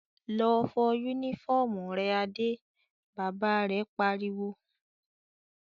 "Lọ fọ únífọ́ọ́mù rẹ Adé!" Bàbá rẹ̀ pariwo.